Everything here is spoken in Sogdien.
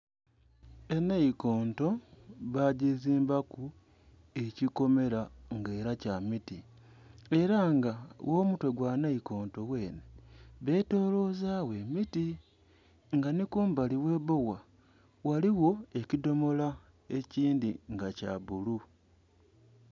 Enhaikonto ba gizimbaku ekikomera nga era kya miti era nga gho mutwe gwa enhaikonto gwenhe betolozagho emiti nga nhi kumbali ghe bbowa, ghaligho ekidhomola ekindhi nga kya bbulu.